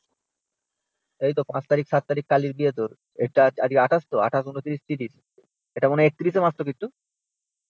এই তো five তারিখ, seven তারিখ কালির বিয়ে তো। আজকে twenty-eight তো? twenty-eight twenty-nine thirty এটা মনে হয় thirty-one এ মাস তো